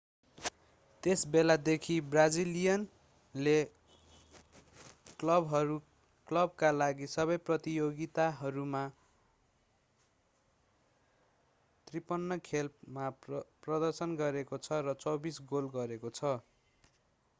त्यस बेलादेखि ब्राजिलियनले क्लबका लागि सबै प्रतियोगिताहरूमा 53 खेल मा प्रदर्शन गरेको छ र 24 गोल गरेको छ